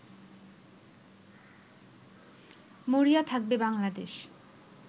মরিয়া থাকবে বাংলাদেশ